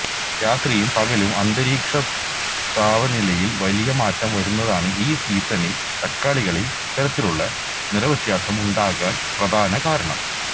രാത്രിയും പകലും അന്തരീക്ഷ താവനിലയില് വലിയ മാറ്റം വരുന്നതാണ് ഈ സീസണില് തക്കാളികളില് ഇത്തരത്തിലുള്ള നിറവ്യത്യാസമുണ്ടാകാന് പ്രധാന കാരണം